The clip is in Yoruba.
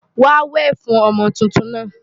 Wàá wè fún ọmọ tuntun náà!